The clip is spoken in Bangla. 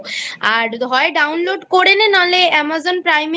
আর হয় Download করে নে না হলে Amazon Prime এও